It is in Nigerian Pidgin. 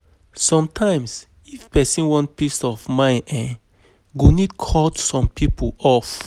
Sometimes, if pesin wan peace of mind, em go need cut some people off.